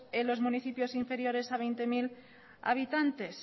en los municipios inferiores a veinte mil habitantes